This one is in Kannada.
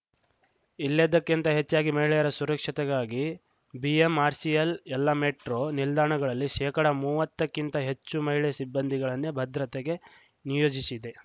ಇಲ್ಲೆದಕ್ಕಿಂತ ಹೆಚ್ಚಾಗಿ ಮಹಿಳೆಯರ ಸುರಕ್ಷತೆಗಾಗಿ ಬಿಎಂಆರ್‌ಸಿಎಲ್‌ ಎಲ್ಲ ಮೆಟ್ರೋ ನಿಲ್ದಾಣಗಳಲ್ಲಿ ಶೇಕಡ ಮೂವತ್ತಕ್ಕಿಂತ ಹೆಚ್ಚು ಮಹಿಳೆ ಸಿಬ್ಬಂದಿಗಳನ್ನೇ ಭದ್ರತೆಗೆ ನಿಯೋಜಿಶಿದೆ